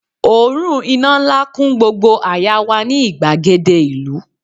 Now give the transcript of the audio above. òórùn iná nla kun gbogbo àyà wa ni igbagede ìlú